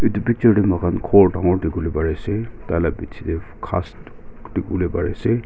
itu picture teh muihan ghor dangor dikhiwole pari ase taila piche teh ghas dikhiwole pari ase.